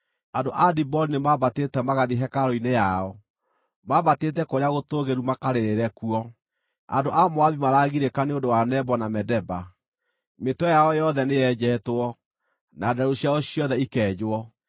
Andũ a Diboni nĩmambatĩte magathiĩ hekarũ-inĩ yao, mambatĩte kũrĩa gũtũũgĩru makarĩrĩre kuo; andũ a Moabi maraagirĩka nĩ ũndũ wa Nebo na Medeba. Mĩtwe yao yothe nĩyenjetwo, na nderu ciao ciothe ikenjwo.